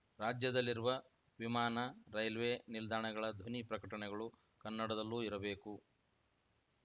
ರಾಜ್ಯದಲ್ಲಿರುವ ವಿಮಾನ ರೈಲ್ವೆ ನಿಲ್ದಾಣಗಳ ಧ್ವನಿ ಪ್ರಕಟಣೆಗಳು ಕನ್ನಡದಲ್ಲೂ ಇರಬೇಕು